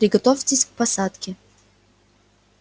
приготовьтесь к посадке